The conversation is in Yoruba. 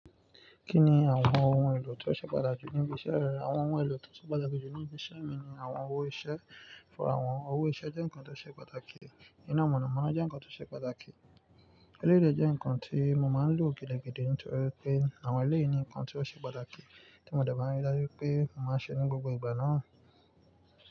Kí ni àwọn ohun èlò tó ṣe pàtàkì níbi iṣẹ́ rẹ? Àwọn ohun èlò tó ṣe pàtàkì jù níbi iṣẹ́ mi ni àwọn owó iṣẹ́. Ọ̀pọ̀ àwọn owó iṣẹ́ jẹ́ nǹkan tó ṣe pàtàkì. Ìná mọ̀nàmọ́ná jẹ́ nǹkan tó ṣe pàtàkì. Eleyi lé jẹ́ nǹkan tí mo máa ń lò gidigidi nítorí pé àwọn eleyi ni nǹkan tí ó ṣe pàtàkì tí mo dẹ̀ bá rí i dájú pé mo máa ṣe ní gbogbo ìgbà náà.